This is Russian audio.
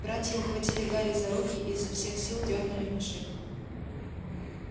братья ухватили гарри за руки и изо всех сил дёрнули в машину